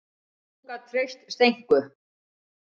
Og hún gat treyst Steinku.